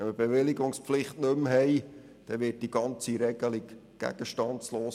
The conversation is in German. Wenn diese nicht mehr besteht, wird diese Regelung gegenstandslos.